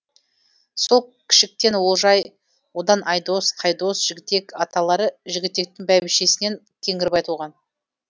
сол кішіктен олжай одан айдос қайдос жігітек аталары жігітектің бәйбішесінен кеңгірбай туған